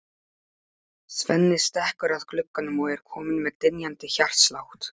Svenni stekkur að glugganum og er kominn með dynjandi hjartslátt.